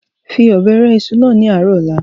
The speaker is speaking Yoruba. fi Ọ̀bẹ rẹ ìṣù náà ni ààrọ̀ ọ̀la!